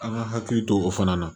An ka hakili to o fana na